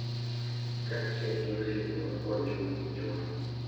Kaachiel gi osiepewa kod jopuonjwa.